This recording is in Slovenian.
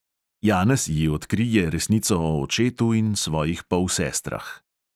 Janez ji odkrije resnico o očetu in svojih polsestrah.